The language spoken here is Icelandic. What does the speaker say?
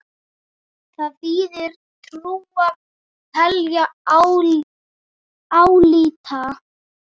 Þar þýðir trúa: telja, álíta.